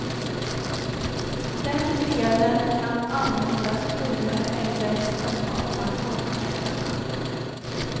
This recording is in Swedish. Den delen kan användas friare än resten av pensionspengarna.